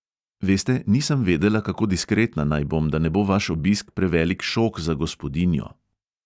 Veste, nisem vedela, kako diskretna naj bom, da ne bo vaš obisk prevelik šok za gospodinjo!